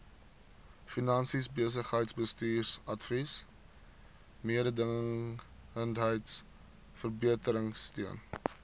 finansies besigheidsbestuursadvies mededingendheidsverbeteringsteun